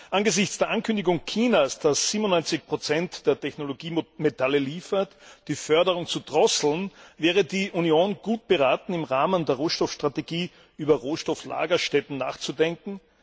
Angesichts der Ankündigung Chinas, das 97 der Technologiemetalle liefert, die Förderung zu drosseln, wäre die Union gut beraten, im Rahmen der Rohstoffstrategie über Rohstofflagerstätten nachzudenken.